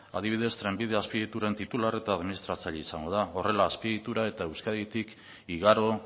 adibidez trenbidea azpiegituren titular eta administratzaile izango da horrela azpiegiturak eta euskaditik igaro